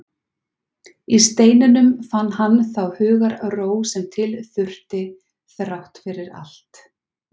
Í steininum fann hann þá hugarró sem til þurfti, þrátt fyrir allt.